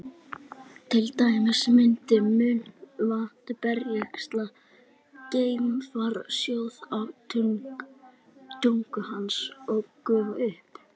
til dæmis myndi munnvatn berskjaldaðs geimfara sjóða á tungu hans og gufa upp